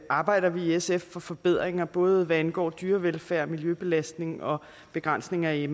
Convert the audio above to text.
arbejder vi i sf for forbedringer både hvad angår dyrevelfærd miljøbelastning og begrænsning af